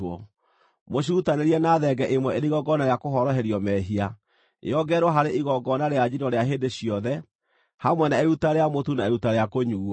Mũcirutanĩrie na thenge ĩmwe ĩrĩ igongona rĩa kũhoroherio mehia, yongererwo harĩ igongona rĩa njino rĩa hĩndĩ ciothe, hamwe na iruta rĩa mũtu na iruta rĩa kũnyuuo.